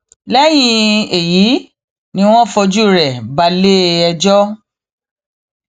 lẹyìn èyí ni wọn fojú rẹ balẹẹjọ